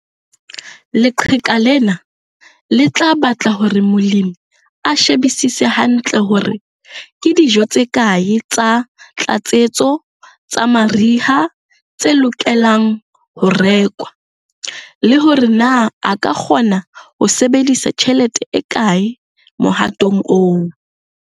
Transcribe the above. Leqheka lena le tla batla hore molemi a shebisise hantle hore ke dijo tse kae tsa tlatsetso, tsa mariha, tse lokelang ho rekwa, le hore na a ka kgona ho sebedisa tjhelete e kae mohatong oo.